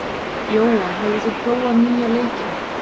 Jóa, hefur þú prófað nýja leikinn?